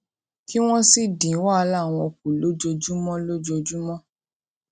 kí wón sì dín wàhálà wọn kù lójoojúmọ lójoojúmọ